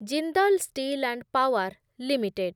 Jindal steel and power limited